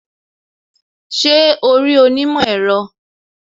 Ṣé o rí onímọ̀ èro